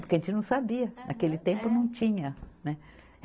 Porque a gente não sabia, naquele tempo não tinha, né.